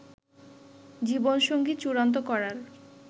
জীবনসঙ্গী চূড়ান্ত করার